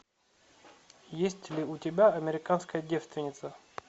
есть ли у тебя американская девственница